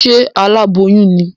Ṣe aláboyún ní?